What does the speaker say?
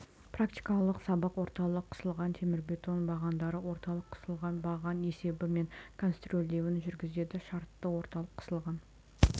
практикалық сабақ орталық қысылған темірбетон бағандары орталық қысылған баған есебі мен конструирлеуін жүргізеді шартты орталық қысылған